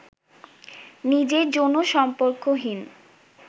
নিজের যৌনসম্পর্কহীন